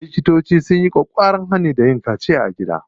Likitoci sun yi ƙwaƙƙwaran hani da yin kaciya a gida.